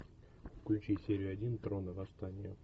включи серию один трона восстание